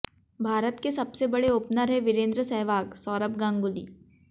भारत के सबसे बड़े ओपनर हैं वीरेंद्र सहवागः सौरव गांगुली